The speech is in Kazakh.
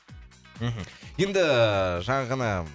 мхм енді ііі жаңа ғана